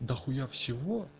дохуя всего